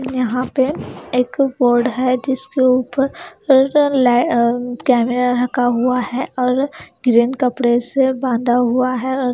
यहां पे एक बोर्ड है जिसके ऊपर कैमरा रखा हुआ है और ग्रीन कपड़े से बांधा हुआ है।